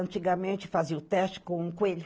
Antigamente fazia o teste com um coelho.